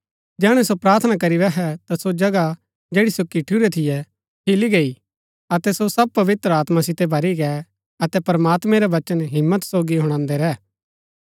जैहणै सो प्रार्थना करी बैहै ता सो जगह जैड़ी सो किठूरै थियै हिली गो अतै सो सब पवित्र आत्मा सितै भरी गै अतै प्रमात्मैं रा वचन हिम्मत सोगी हुणादै रैह